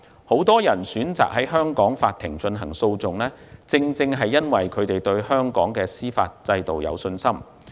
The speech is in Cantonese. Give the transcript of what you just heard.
很多人選擇在香港法庭進行訴訟，正是因為他們對香港的司法制度有信心。